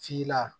F'i la